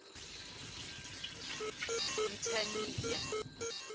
mthaniya